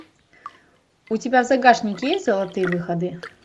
у тебя в загашнике есть золотые выходы